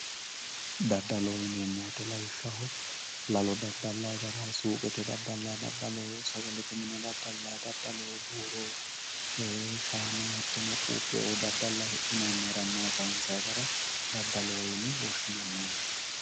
Dadaloho yineemo woyite lawishaho lalo dadalayi gara suuqeete dadalayi dadalo, sagalete mine dadalayi dadalo, buuro, shaa'na, hatono quupheoo hidhinayinna hiramayi sayinsayi gara dadaloho yine woshinayi yaate